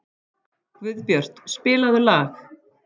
Guðbjört, spilaðu lag.